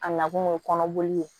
A nakun ye kɔnɔboli ye